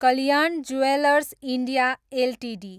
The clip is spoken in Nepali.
Kalyan jewellers India Ltd